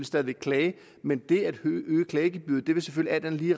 stadig væk klage men det at øge klagegebyret vil selvfølgelig